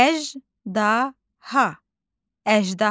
Əjdaha.